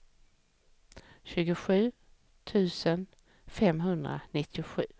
tjugosju tusen femhundranittiosju